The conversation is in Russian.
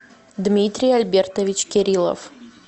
дмитрий альбертович кирилов